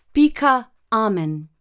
Pika, amen!